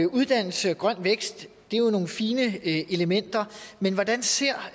uddannelse og grøn vækst er nogle fine elementer men hvordan ser